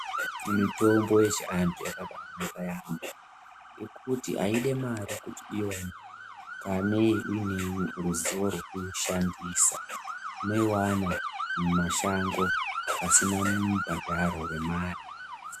Mitombo yechiantu yakakosha yaamho ngekuti haidi mare kanei uine ruzivo rekuishandisa. Unoiwana mumashango pasina mubhadharo wemare.